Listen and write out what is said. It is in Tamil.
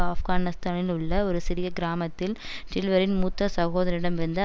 ஆப்கானிஸ்தானில் உள்ள ஒரு சிறிய கிராமத்தில் டில்வரின் மூத்த சகோதரிடமிருந்த